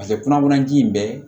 Paseke kɔnɔwanji in bɛ